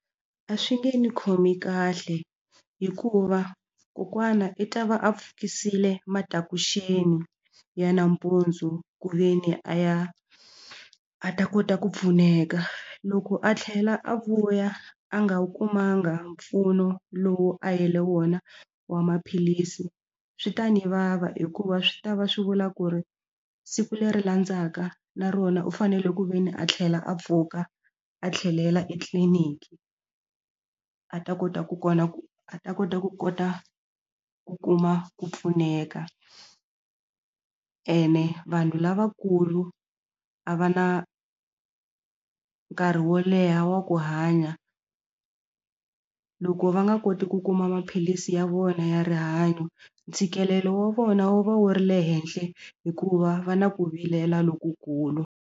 A swi nge ni khomi kahle hikuva kokwana i ta va a pfukisile matakuxeni ya nampundzu ku ve ni a ya a ta kota ku pfuneka loko a tlhela a vuya a nga wu kumanga mpfuno lowu a yele wona wa maphilisi swi ta ni vava hikuva swi ta va swi vula ku ri siku leri landzaka na rona u fanele ku ve ni a tlhela a pfuka a tlhelela etliliniki a ta kota ku kona ku a ta kota ku kota ku kuma ku pfuneka ene vanhu lavakulu a va na nkarhi ri wo leha wa ku hanya loko va nga koti ku kuma maphilisi ya vona ya rihanyo ntshikelelo wa vona wu va wu ri le henhla hikuva va na ku vilela lokukulu.